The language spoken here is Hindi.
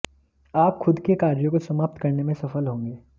आप खुद के कार्यों को समाप्त करने में सफल होंगे